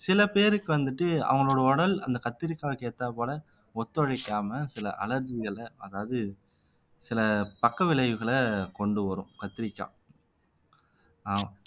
சில பேருக்கு வந்துட்டு அவங்களோட உடல் அந்த கத்திரிக்காய்க்கு ஏத்தாற்போல ஒத்துழைக்காம சில அலர்ஜிகளை அதாவது சில பக்க விளைவுகளை கொண்டு வரும் கத்தரிக்காய் அஹ்